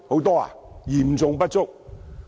是嚴重不足的。